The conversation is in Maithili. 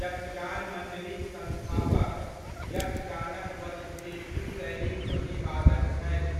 यक्षगान मंडलीक संस्थापक, यक्षगानक बदगुटिट्टू शैलीक प्रतिपादक छथि।